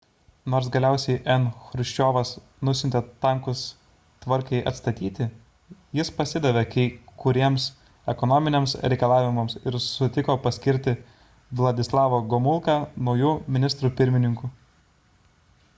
nors galiausiai n chruščiovas nusiuntė tankus tvarkai atstatyti jis pasidavė kai kuriems ekonominiams reikalavimams ir sutiko paskirti vladislavą gomulką nauju ministru pirmininku